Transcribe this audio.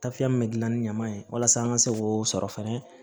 Tafiya min be gilan ni ɲama ye walasa an ka se k'o sɔrɔ fɛnɛ